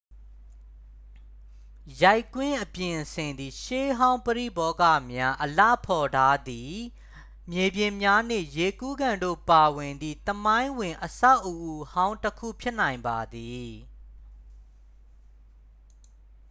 ရိုက်ကွင်းအပြင်အဆင်သည် ရှေးဟောင်းပရိဘောဂများ အလှဖော်ထားသည့် မြေပြင်များနှင့် ရေကူးကန်တို့ပါဝင်သည့် သမိုင်းဝင်အဆောက်အဦးဟောင်းတစ်ခုဖြစ်နိုင်ပါသည်